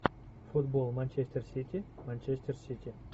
футбол манчестер сити манчестер сити